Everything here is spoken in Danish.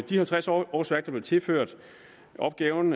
de halvtreds årsværk der blev tilført opgaven